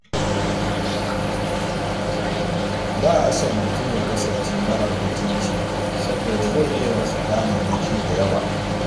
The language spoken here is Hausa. Ba a son mutum ya kasance marar mutunci saboda zai iya rasa damarmaki da yawa.